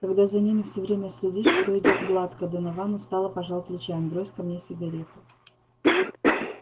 когда за ними все время следишь все идёт гладко донован устало пожал плечами брось-ка мне сигарету